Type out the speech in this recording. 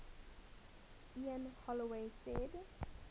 ian holloway said